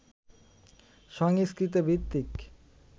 সংস্কৃত ভিত্তিক